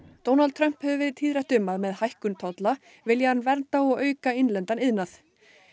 Trump hefur verið tíðrætt um að með hækkun tolla vilji hann vernda og auka innlendan iðnað